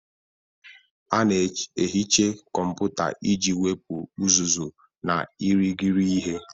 A na-ehicha kọmpụta iji wepụ uzuzu na irighiri ihe.